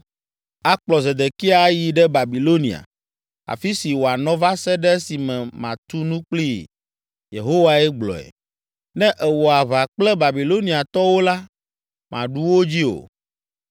Akplɔ Zedekia ayi ɖe Babilonia, afi si wòanɔ va se ɖe esime matu nu kplii Yehowae gblɔe. Ne èwɔ aʋa kple Babiloniatɔwo la, màɖu wo dzi o.’ ”